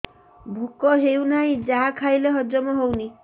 ଭୋକ ହେଉନାହିଁ ଯାହା ଖାଇଲେ ହଜମ ହଉନି